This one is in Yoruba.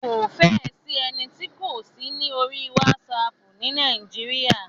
Kò fẹ́ ẹ sí ẹni tí kò sí ní orí WhatsApp ni Nàíjíríà.